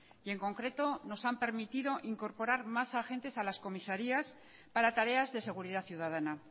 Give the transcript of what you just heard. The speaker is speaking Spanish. y en concreto nos han permitido incorporar más agentes a las comisarías para tareas de seguridad ciudadana